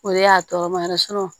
O de y'a tɔɔrɔ ma yɛrɛ